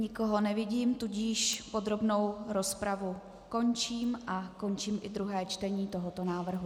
Nikoho nevidím, tudíž podrobnou rozpravu končím a končím i druhé čtení tohoto návrhu.